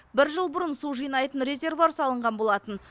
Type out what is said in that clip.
бір жыл бұрын су жинайтын резервуар салынған болатын